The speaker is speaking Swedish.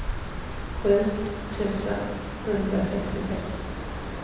sju tusen sjuhundrasextiosex